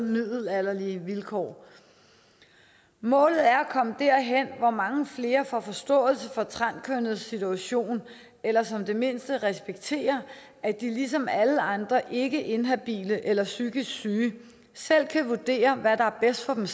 middelalderlige vilkår målet er at komme derhen hvor mange flere får forståelse for transkønnedes situation eller som det mindste respekterer at de ligesom alle andre ikke inhabile eller psykisk syge selv kan vurdere hvad der er bedst for dem